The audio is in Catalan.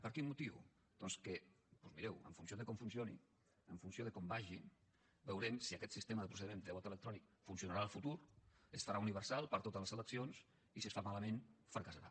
per quin motiu doncs que mireu en funció de com funcioni en funció de com vagi veurem si aquest sistema de procediment de vot electrònic funcionarà en el futur es farà universal per a totes les eleccions i si es fa malament fracassarà